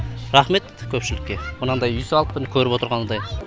рахмет көпшілікке мынандай үй салып міні көріп отырғандай